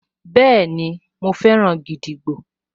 Bẹ́ẹ̀ni, mo fẹ́ràn gídígbò